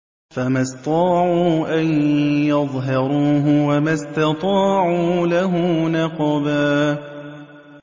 فَمَا اسْطَاعُوا أَن يَظْهَرُوهُ وَمَا اسْتَطَاعُوا لَهُ نَقْبًا